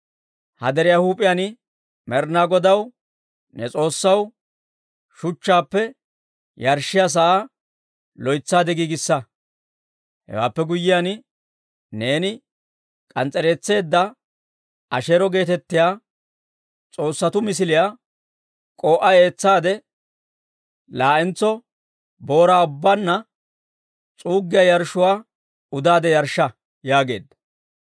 Ha deriyaa huup'iyaan Med'inaa Godaw, ne S'oossaw, shuchchaappe yarshshiyaa sa'aa loytsaade giigissa; hewaappe guyyiyaan, neeni k'ans's'ereetseedda Asheero geetettiyaa s'oossatuu misiliyaa k'oo'uwaa eetsaade, laa'entso booraa ubbaanna s'uuggiyaa yarshshuwaa udaade yarshsha» yaageedda.